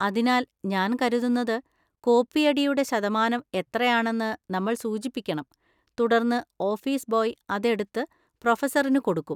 അതിനാൽ, ഞാൻ കരുതുന്നത് കോപ്പിയടിയുടെ ശതമാനം എത്രയാണെന്ന് നമ്മൾ സൂചിപ്പിക്കണം, തുടർന്ന് ഓഫീസ് ബോയ് അത് എടുത്ത് പ്രൊഫസറിന് കൊടുക്കും.